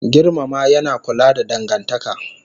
Girmama yana kula da dangantaka